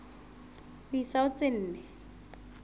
ho isa ho tse nne